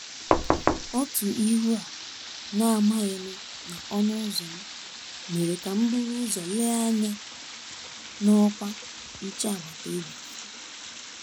Otu ihu a na-amaghị nụ na ọnụ́ ụ́zọ̀ m, mèrè kà m buru ụ́zọ̀ lèè ányá na ọ́kwá nchè agbata obi.